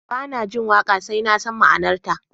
Ba na jin waƙa sai na san ma'anarta